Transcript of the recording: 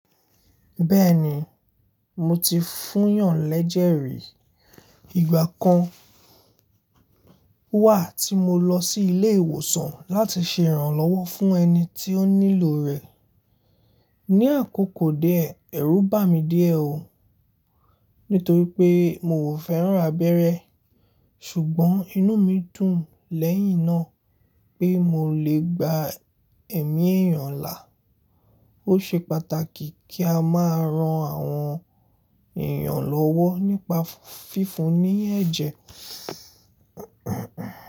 Bẹ́ẹ̀ni, mo ti fúnyàn lẹ́jẹ̀ rí. Ìgbà kan wà tí mo lọ sí ilé ìwòsàn láti ṣe ìrànlọ́wọ́ fún ẹni tí ó nílò rẹ̀. Ni àkókò die, ẹrú bà mí díẹ̀ ó, nítorí pé mi o fẹ́ràn abẹ́rẹ́, ṣùgbọ́n inú mi dùn lẹ́yìn náà pé mo lè gba ẹ̀mí èèyàn là. Ó ṣe pàtàkì kí a máa ran àwọn èèyàn lọ́wọ́ nípa fífún un ní ẹ̀jẹ̀.